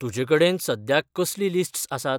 तुजेकडेन सद्याक कसलीं लिस्ट्स आसात?